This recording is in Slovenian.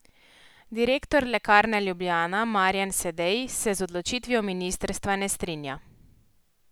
Direktor Lekarne Ljubljana Marjan Sedej se z odločitvijo ministrstva ne strinja.